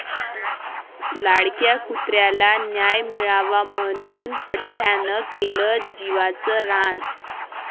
लाडक्या कुत्र्याला न्याय मिळावा म्हणून पठ्ठयानं केलं जीवाचं रान!